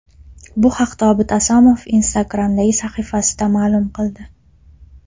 Bu haqda Obid Asomov Instagram’dagi sahifasida ma’lum qildi .